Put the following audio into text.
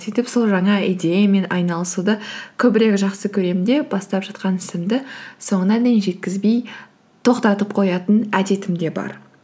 сөйтіп сол жаңа идеямен айналасуды көбірек жақсы көремін де бастап жатқан ісімді соңына дейін жеткізбей тоқтатып қоятын әдетім де бар